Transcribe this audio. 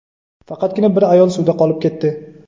Faqatgina bir ayol suvda qolib ketdi.